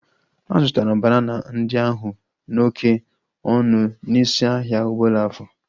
A zụtara banana ndị ahu n'oké ọnụ n'isi ahia Obollo-Afor